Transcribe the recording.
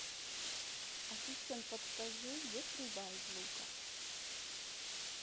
ассистент подскажи где стрельба из лука